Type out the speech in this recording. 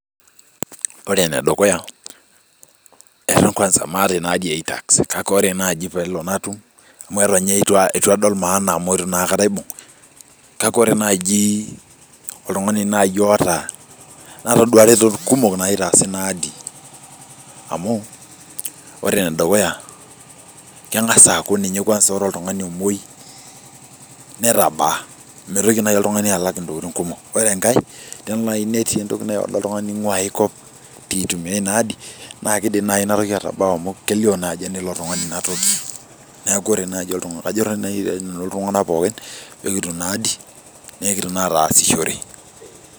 Ore ene dukuyaa eton maata ina ADI ee itax, kake ore naaji peelo natum, eton ninye eitu adol maana amu eitu naaikata aibung, kake kore naaji oltungani naai oota natoduaa ikumok naitaaza ina adi, amu kore enedukuya kengaz aaku kore oltungani omwoi netabaa meitoki oltungani alak intokitin kumok, kore enkae teneloo naai Iniorder oltungani kulie tokitin nainguaa ai koop , piitumia inadi naa kebau amu kelio ajo enilo tungani ina toki, neeku kajoki naii iltungana pookin peetum ina adi pikitum naa ataasishore.